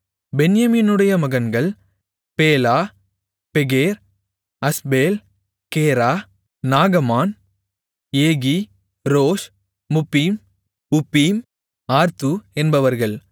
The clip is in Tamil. பென்யமீனுடைய மகன்கள் பேலா பெகேர் அஸ்பேல் கேரா நாகமான் Ehi Rosh Muppim Huppim Ard என்பவர்கள்